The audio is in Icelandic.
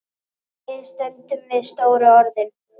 Við stöndum við stóru orðin.